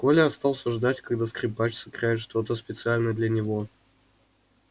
коля остался ждать когда скрипач сыграет что-то специально для него